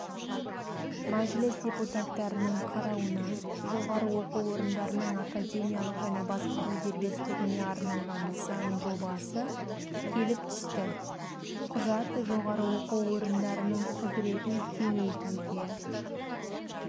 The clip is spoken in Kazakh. мәжіліс депутаттарының қарауына жоғары оқу орындарының академиялық және басқару дербестігіне арналған заң жобасы келіп түсті құжат жоғары оқу орындарының құзыретін кеңейтуге